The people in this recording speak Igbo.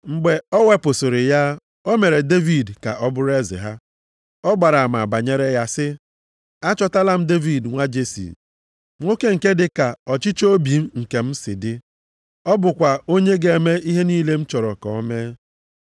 Mgbe o wepụsịrị ya, o mere Devid ka ọ bụrụ eze ha. Ọ gbara ama banyere ya sị, ‘Achọtala m Devid nwa Jesi, nwoke nke dị ka ọchịchọ obi m nke si dị. Ọ bụkwa onye ga-eme ihe niile m chọrọ ka o mee.’